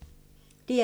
DR2